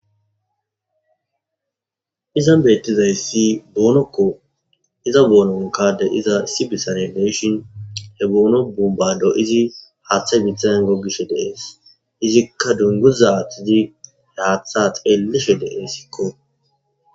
Izan beettizayssi boonokko iza boononkade iza isi bisare deshin he boono bumbado izi haathe mithengo gishe dees izikka dunguzatidi he haatha xelishe desiko